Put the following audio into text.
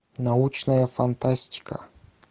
научная фантастика